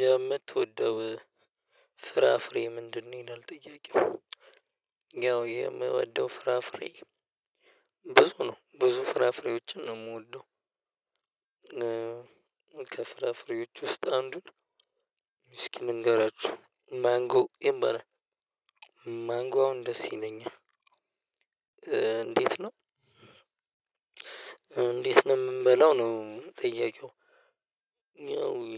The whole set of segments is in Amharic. የምትወደው ፍራፍሬ ምንድነው? ይላል ጥያቄው። ያው የምወደው ፍራፍሬ ብዙ ነው ብዙ ፍራፍሬዎችን ነው የምወደው። ከፍራፍሬዎች ውስጥ አንዱን። እስኪ ልንገራችሁ ማንጎ ይባላል። ማንጎ አሁን ደስ ይለኛል። እንዴት ነው? እንዴት ነው የምንበላው ነው ጥያቄው።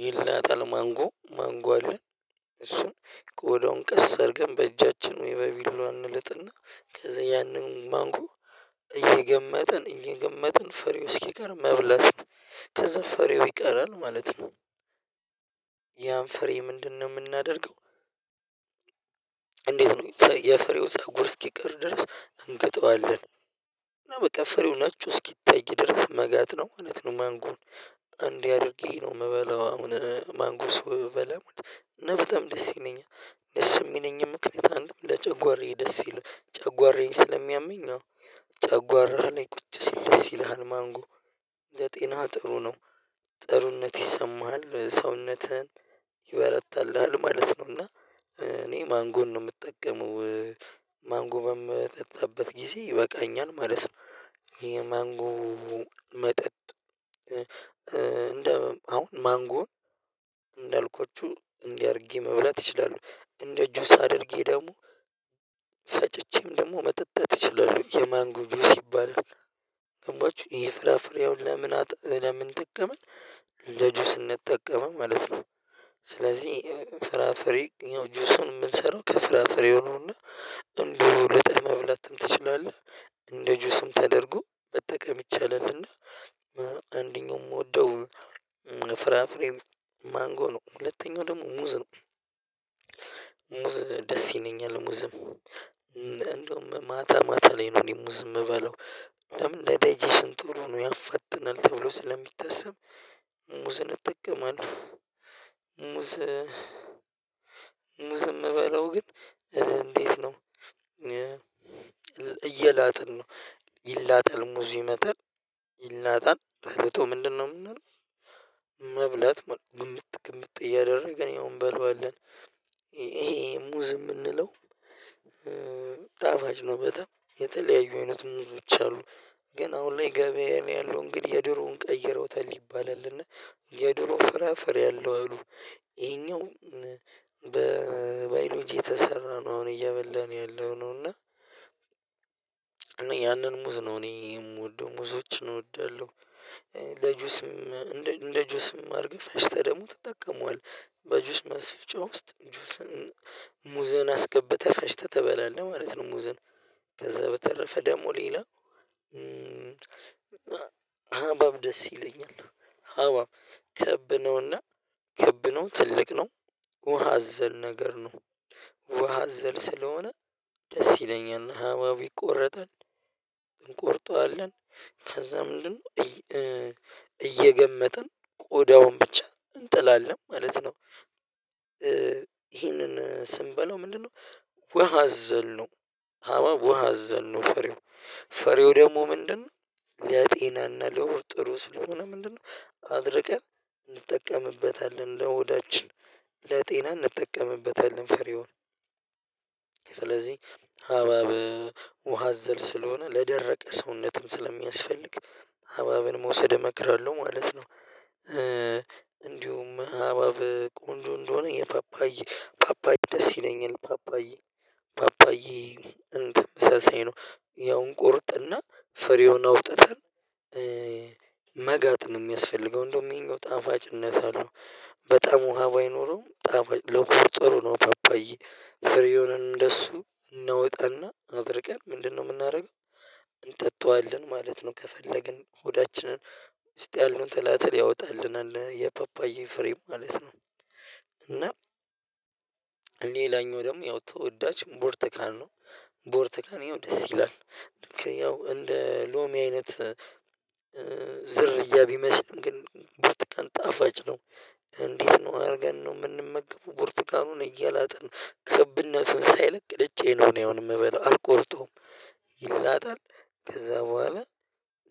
ይላጣል ማንጎ ማንጎ አለ። እሱን ቆዳዉን ቀስ አድርገን በእጃችን ወይ በቢላዋ እንልጥና ከዛ ያንን ማንጎ። እየገመጥን ፍሬው እስኪቀር መብላት። ከዛ ፍሬው ይቀራል ማለት ነው። ያን ፍሬ ምንድነው የምናደርገው? እንዴት ነው የፍሬው ፀጉር እስኪቀር ድረስ እንግጠዋለን። እና በቃ ፍሬው ነጩ እስኪታይ ድረስ መጋጥ ነው ማንጎን እንዲህ አድርጌ ነው የምበላው። አሁን ማንጎ ስበላ በጣም ደስ ይለኛል። ደስ የሚለኝም ምክንያት አንድ ለጨጓራዬ ደስ ይለኛል ጨጓራዬን ስለሚያመኝ ነው። ጨጓራህ ላይ ቁጭ ሲል ደስ ይልሃል ማንጎ። ለጤና ጥሩ ነው። ጥሩነት ይሰማሃል ሰውነትህን ይበረታልሃል ማለት ነው። እና እኔ ማንጎን ነው የምጠቀመው። ማንጎም በምጠጣበት ጊዜ ይበቃኛል ማለት ነው። የማንጎ መጠጥ። እንደ አሁን ማንጎ እንዳልኳችሁ እንዲህ አድርጌ መብላት እችላለሁ። እንደ ጁስ አድርጌ ደግሞ። ፈጭቼም ደግሞ መጠጣት እችላለሁ የማንጎ ጁስ ይባላል። ገባችሁ ይሄ ፍራፍሬ ለምን ለምን ጠቀመኝ። ለጁስነት ጠቀመ ማለት ነው። ስለዚህ ፍራ ፍሬ ያው ጁሱን የምንሰራው ከፍራፍሬ ነው። እና እንደሁ ልጠን መብላትም ትችላለህ እንደ ጁስም ተደርጎ መጠቀም ይቻላልና። አንደኛው የምወደው ፍራፍሬ ማንጎ ነው። ሁለተኛው ደግሞ ሙዝ ነው። ሙዝ ደስ ይለኛል ሙዝም እንዲሁም ማታ ማታ ላይ ነው እኔ ሙዝ የምበላው። ለምን እንደ ዳይጀሽን ጥሩ ነው ያፈጥናል ተብሎ ስለሚታሰብ ሙዝን እጠቀማለሁ። ሙዝ የምበለው ግን እንዴት ነው? እየላጥን ነው። ይላጠል ሙዚ ይመጣል። ይላጣል ተልጦ ምንድነው የምናደርገው? መብላት ግምጥ እያደረግን ያው እንበላዋለን። ይሄ ሙዝ የምንለው ጣፋጭ ነው። በጣም የተለያዩ አይነት ሙዞች አሉ። ግን አሁን ላይ ገበያ ያለው እንግዲህ የድሮውን ቀይረውታል ይባላልና። የድሮ ፍራፍሬ አለው አሉ። ይሄኛው በባዮሎጂ የተሰራ ነው አሁን እየበላን ያለው ነው። እና እኔ ያንን ሙዝ ነው እኔ የምወደው ሙዞችን እወዳለሁ። ለጁስም እንደ ጁስም አርገህ ፈጭተህ ደግሞ ተጠቀመዋለህ በጁስ ማስፍጫ ውስጥ ጁስን ሙዘን አስገብተህ ፈጭተህ ትበላለህ ማለት ነው። ሙዝን ከዛ በተረፈ ደግሞ ሌላ። ሃብሃብ ደስ ይለኛል። ክብ ነውና ክብ ነው ትልቅ ነው። ውሃ አዘል ነገር ነው። ውሃ አዘል ስለሆነ ደስ ይለኛል ሃብሃብ ይቆረጣል። እንቆርጠዋለን። ከዛ ምንድነው? እየገመጥን ቆዳውን ብቻ እንጥላለን ማለት ነው። ይሄንን ስንበላው ምንድነው? ዉሃ አዘል ነው። ሃብሃብ ዉሃ አዘል ነው። ፍሬው ደግሞ ምንድነው? ለጤናና ለሆድ ሩስ ስለሆነ ምንድነው? አድርቀን እንጠቀምበታለን ለሆዳችን ለጤና እንጠቀምበታለን ፍሬውን። ስለዚህ ሃብሃብ ውሃ አዘል ስለሆነ ለደረቀ ሰውነትም ስለሚያስፈልግ ሃብሃብን መውሰድ እመክራለሁ ማለት ነው። እንዲሁም ሃብሃብ ቆንጆ እንደሆነ ፓፓዬ ደስ ይለኛልፓፓዬ። እንትን ሰሰይ ነው። ያው እንቆርጥና ፍሬውን አውጥተን። መጋጥ ነው የሚያስፈልገው እንደውም ይሄኛው ጣፋጭነት አለው። በጣም ውሃ ባይኖረውም ጣፋጭ ለሆድ ጥሩ ነው ፓፓዬ። ፍሬዉንም እንደሱ እናወጣና አድርቀን ምንድነው የምናደርገው? እንጠጣዋለን ማለት ነው። ከፈለግን ሆዳችንን ውስጥ ያሉትን ትላትል ያወጣልናል የፓፓዬ ፍሬ ማለት ነው። እና ሌላኛው ደግሞ ያው ተወዳጅ ብርቱካን ነው። ብርቱካን ይሄው ደስ ይላል። ልክ ያው እንደ ሎሚ አይነት። ዝርያ ቢመስልም ግን በጣም ጣፋጭ ነው። እንዴት ነው አድርገን ነው የምንመገበው ብርቱካኑን እየላጥን ክብነቱ ሳይለቅ እጄ ነው እኔ አሁን የምበለው አልቆርጠውም። ይላጣል። ከዛ በኋላ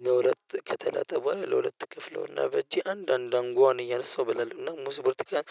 ለሁለት ከተላጠ በኋላ ለሁለት ክፍለውና በእጄ አንድ አንድ አንጓን እያነሳው እበላለሁ። ሙዝ ብርቱካን